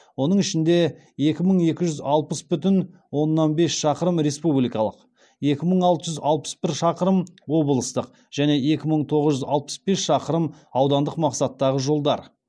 оның ішінде екі мың екі жүз алпыс бүтін оннан бес шақырым республикалық екі мың алты жүз алпыс бір шақырым облыстық және екі мың тоғыз жүз алпыс бес шақырым аудандық мақсаттағы жолдар